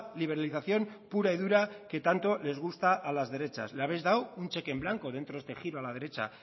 liberalización pura y dura que tanto les gusta a las derechas le habéis dado un cheque en blanco dentro de este giro a la derecha